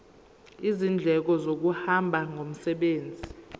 izindleko zokuhamba ngomsebenzi